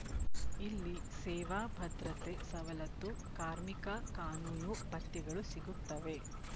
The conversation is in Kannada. ಇಲ್ಲಿ ಸೇವಾ ಭದ್ರತೆ ಸವಲತ್ತು ಕಾರ್ಮಿಕ ಕಾನೂನು ಭತ್ಯೆಗಳು ಸಿಗುತ್ತವೆ